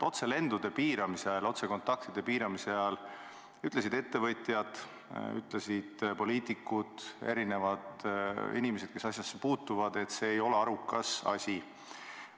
Otselendude ja otsekontaktide piiramise ajal ütlesid ettevõtjad, poliitikud, erinevad inimesed, kes asjasse puutuvad, et see ei ole arukas asi.